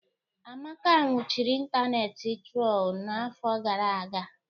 Amaka nwụchiri ịntanetị trol n'afọ gara aga.